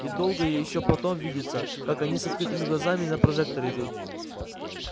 и долго ещё потом видится как они с открытыми глазами на прожектор идут